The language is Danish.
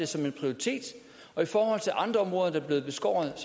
som en prioritet og i forhold til andre områder der er blevet beskåret